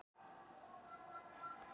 Anna Lilja skipuð ráðuneytisstjóri